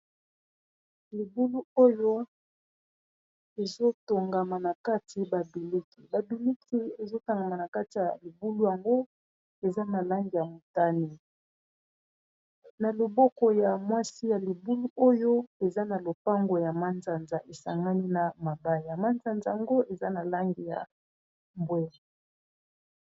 Libulu oyo ezotongama na kati babiliki, babiliki ezotongama na kati ya libulu yango eza na langi ya motane, na loboko ya mwasi ya libulu oyo eza na lopango ya manzanza esangami na mabaya, mansanza yango eza na lange ya mbwe.